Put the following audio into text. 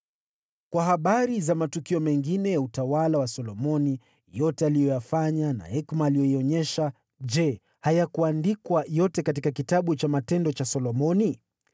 Kwa habari za matukio mengine ya utawala wa Solomoni, yote aliyoyafanya na hekima aliyoionyesha, je hayakuandikwa yote katika kitabu cha matendo cha Solomoni?